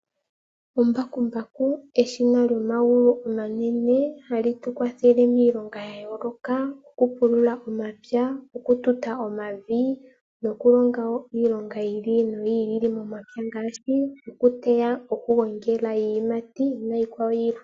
Embakumbaku eshina lyomagulu omanene hali tu kwathele miilonga ya yooloka ngaashi oku pulula omapya, oku tuta omavi noku longa wo iilonga yi ili noyi ili momapya ngaashi okuteya, oku gongela iiyimati niikwawo yilwe.